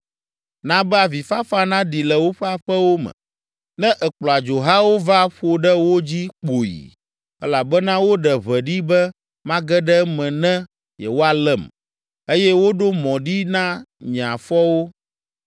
Na be avifafa naɖi le woƒe aƒewo me ne èkplɔ adzohawo va ƒo ɖe wo dzi kpoyi, elabena woɖe ʋe ɖi be mage ɖe eme ne yewoalém, eye woɖo mɔ ɖi na nye afɔwo.